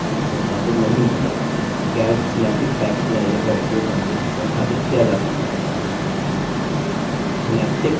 यदि package पास LibreOffice suite संस्थापित नहीं है calc synaptic package manager का उपयोग करके संस्थापित किया जा सकता है